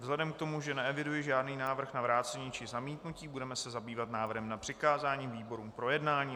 Vzhledem k tomu, že neeviduji žádný návrh na vrácení či zamítnutí, budeme se zabývat návrhem na přikázání výborům k projednání.